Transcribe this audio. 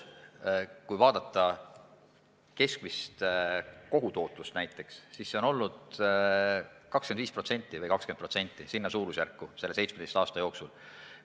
Kui vaadata näiteks keskmist kogutootlust, siis see on 17 aasta jooksul olnud umbes 25% või 20%.